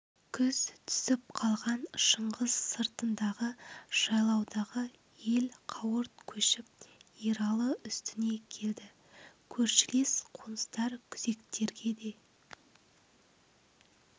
күз түсіп қалған шыңғыс сыртындағы жайлаудағы ел қауырт көшіп ералы үстіне келді көршілес қоныстар күзектерге де